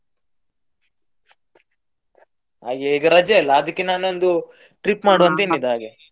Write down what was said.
ಹಾಗೆ ಈಗ ರಜೆ ಅಲ್ಲ ಅದಕ್ಕೆ ನಾನೊಂದು trip ಅಂತ ಹೇಳಿದ್ದು ಹಾಗೆ.